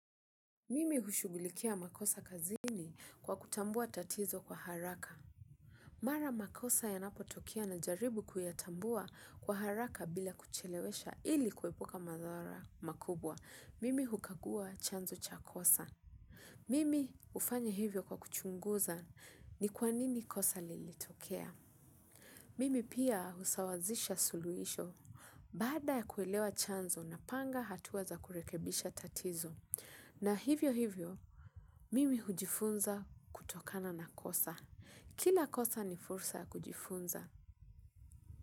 Mimi hushugulikia makosa kazini kwa kutambua tatizo kwa haraka. Mara makosa yanapotokea najaribu kuyatambua kwa haraka bila kuyachelewesha ili kuepuka madhara makubwa. Mimi hukagua chanzo cha kosa. Mimi ufanya hivyo kwa kuchunguza ni kwanini kosa lilitokea. Mimi pia usawazisha suluhisho. Baada ya kuelewa chanzo na panga hatuwa za kurekebisha tatizo. Na hivyo hivyo, mimi hujifunza kutokana na kosa. Kila kosa ni fursa kujifunza.